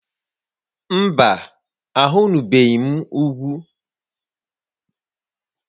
Mba, ahụnubeghị m ugwu